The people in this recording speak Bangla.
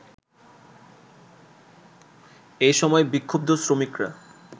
এ সময় বিক্ষ‍ুব্ধ শ্রমিকরা